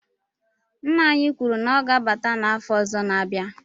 Nna anyi kwuru na o ga-abata n'afo ozo n'abia